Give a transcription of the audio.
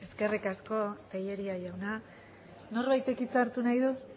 eskerrik asko tellería jauna norbaitek hitz hartu nahi du ez